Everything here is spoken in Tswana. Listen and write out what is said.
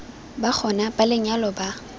ba gona ba lenyalo ba